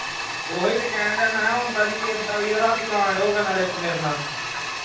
ਉਹੋ ਹੀ ਤੇ ਕਿਹਨ ਡਿਆ ਹਾਂ ਮੈਂ ਕਿਹਾ ਆਉਂਦਾ ਨਹੀਂ ਕਿਸੇ ਦਾ ਵੀ ਰਾਤੀਂ ਕਾਂਡ ਹੋ ਗਿਆ ਇੱਕ ਮੇਰੇ ਨਾਲ